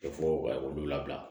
fɔ k'olu labila